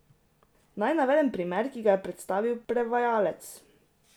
Naj navedem primer, ki ga je predstavil prevajalec.